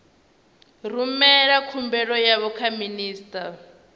rumela khumbelo yavho kha minista